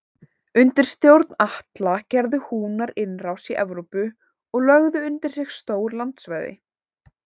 Undir stjórn Atla gerðu Húnar innrás í Evrópu og lögðu undir sig stór landsvæði.